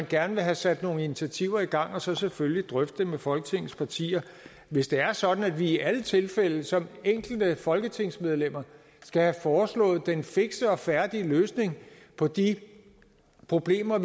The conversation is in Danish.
gerne vil have sat nogle initiativer i gang og så selvfølgelig drøfte dem med folketingets partier hvis det er sådan at vi i alle tilfælde som enkelte folketingsmedlemmer skal have foreslået en fiks og færdig løsning på de problemer